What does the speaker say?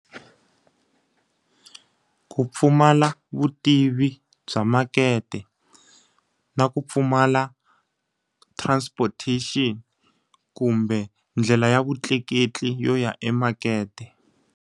Ku pfumala vutivi bya makete, na ku pfumala transportation kumbe ndlela ya vutleketli yo ya emakete.